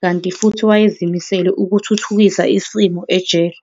kanti futhi wayezimisele ukuthuthukisa isimo ejele.